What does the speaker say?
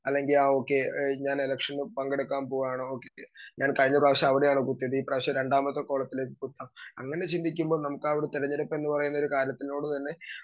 speaker 2 അല്ലെങ്കി ആഹ് okay ഞാൻ എലെക്ഷന് പങ്കെടുക്കാൻ പോവാണ് ഞാൻ കഴിഞ്ഞപ്രാവശ്യം അവിടെയാണ് കുത്തിയത് ഇപ്രാവശ്യം രണ്ടാമത്തെ കോളത്തിൽ കുത്താം അങ്ങനെ ചിന്തിക്കുമ്പോ നമുക്ക് ആ ഒരു തെരഞ്ഞെടുപ്പെന്ന് പറയുന്ന ഒരു കാലത്തിനോട് തന്നെ